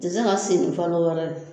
Te se ka sen nin falo wɛrɛ d